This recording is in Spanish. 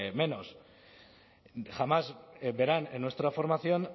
menos jamás verán en nuestra formación